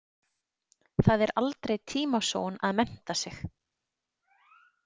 Það er aldrei tímasóun að mennta sig.